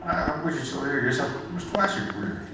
а рабочий человек я сейчас сварщик хули